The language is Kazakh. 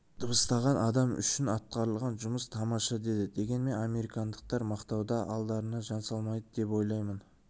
дыбыстаған адам үшін атқарылған жұмыс тамаша деді дегенмен американдықтар мақтауда алдарына жан салмайды деп ойлаймын